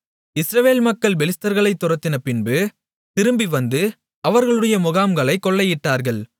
இஸ்ரவேல் மக்கள் பெலிஸ்தர்களை துரத்தின பின்பு திரும்பி வந்து அவர்களுடைய முகாம்களைக் கொள்ளையிட்டார்கள்